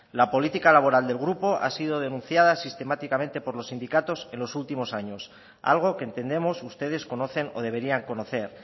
la política laboral del grupo ha sido denunciada sistemáticamente por los sindicatos en los últimos años algo que entendemos ustedes conocen o deberían conocer